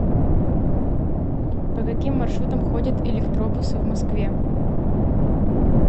по каким маршрутам ходят электробусы в москве